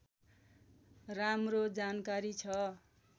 राम्रो जानकारी छ